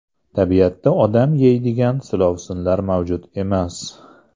Tabiatda odam yeydigan silovsinlar mavjud emas.